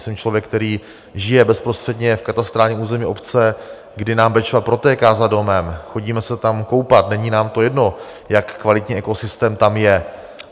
Jsem člověk, který žije bezprostředně v katastrálním území obce, kdy nám Bečva protéká za domem, chodíme se tam koupat, není nám to jedno, jak kvalitní ekosystém tam je.